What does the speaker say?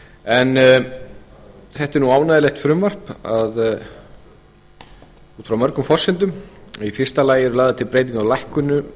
en þetta er nú ánægjulegt frumvarp út frá mörgum forsendum í fyrsta lagi er lagðar til breytingar á lækkunum